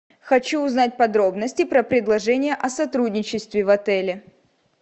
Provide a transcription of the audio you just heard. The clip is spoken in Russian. хочу узнать подробности про предложение о сотрудничестве в отеле